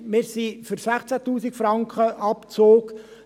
Wir sind für 16 000 Franken Abzug.